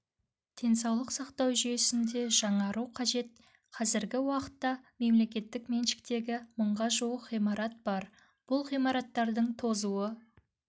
денсаулық сақтау жүйесінде жаңару қажет қазіргі уақытта мемлекеттік меншіктегі мыңға жуық ғимарат бар бұл ғимараттардың тозуы